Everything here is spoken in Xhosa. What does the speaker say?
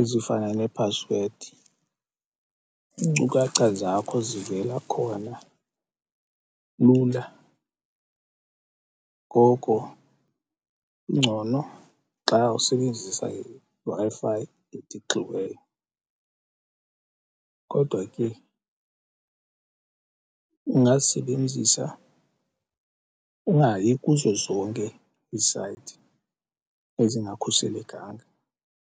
ezifana nephasiwedi. Iinkcukacha zakho zivela khona lula, ngoko kungcono xa usebenzisa iWi-Fi etixiweyo. Kodwa ke ungazisebenzisa ungayi kuzo zonke iisayithi ezingakhuselekanga.